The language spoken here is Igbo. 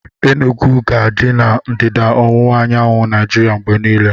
Enugwu ga-adị na ndịda ọwụwa anyanwụ Naijiria mgbe niile